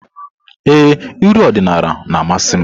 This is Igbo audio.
Ee, uri odinala na-amasị m.